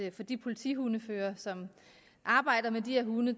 at for de politihundeførere som arbejder med de her hunde